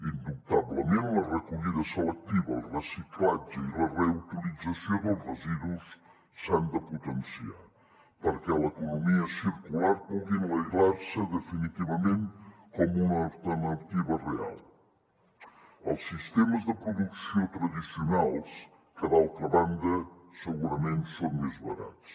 indubtablement la recollida selectiva el reciclatge i la reutilització dels residus s’han de potenciar perquè l’economia circular pugui enlairar se definitivament com una alternativa real als sistemes de producció tradicionals que d’altra banda segurament són més barats